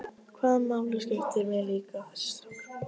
Hvaða máli skiptir mig líka þessi strákur?